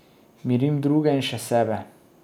Mirim druge in še sebe.